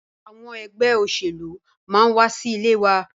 Àwọn ẹgbẹ́ òṣèlú máa wa sí ilé wa.